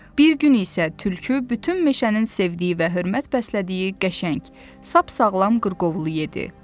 Bir gün isə tülkü bütün meşənin sevdiyi və hörmət bəslədiyi qəşəng, sap-sağlam qırqovulu yedi.